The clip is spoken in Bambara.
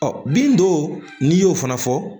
bin dɔw n'i y'o fana fɔ